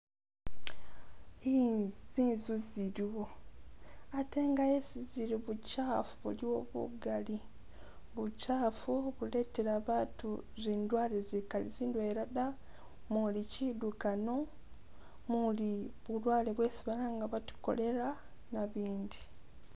Inzu zinzu ziliwo, ate yesi zili bukyaafu buliwo bugali. Bukyaafu buletela batu zindwale zikali ndwela da muli kidukano, muli bulwale bwesi balanga bati cholera, nabindi.